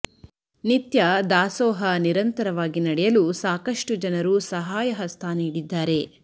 ನಿತ್ಯ ದಾಸೋಹ ನಿರಂತರವಾಗಿ ನಡೆಯಲು ಸಾಕಷ್ಟು ಜನರು ಸಹಾಯ ಹಸ್ತ ನೀಡಿದ್ದಾರೆ